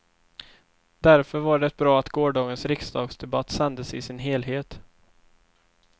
Därför var det bra att gårdagens riksdagsdebatt sändes i sin helhet.